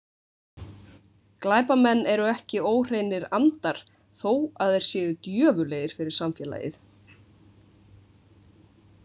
Glæpamenn eru ekki óhreinir andar þó að þeir séu djöfullegir fyrir samfélagið.